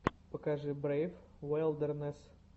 покажи брейв вайлдернесс